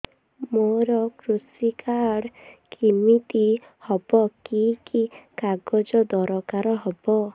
ମୋର କୃଷି କାର୍ଡ କିମିତି ହବ କି କି କାଗଜ ଦରକାର ହବ